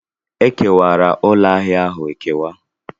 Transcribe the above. Ekewara ụlọ ahịa ahụ ekewa.